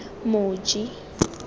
moji